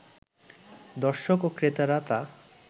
দর্শক ও ক্রেতারা তা